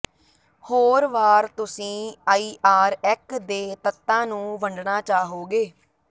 ਹੋਰ ਵਾਰ ਤੁਸੀਂ ਆਈਆਰਏਕ ਦੇ ਤੱਤਾਂ ਨੂੰ ਵੰਡਣਾ ਚਾਹੋਗੇ